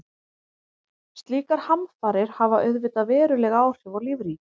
Slíkar hamfarir hafa auðvitað veruleg áhrif á lífríkið.